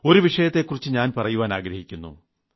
ഒരു വിഷയത്തെക്കുറിച്ച് ഞാൻ പറയുവാൻ ആഗ്രഹിക്കുന്നു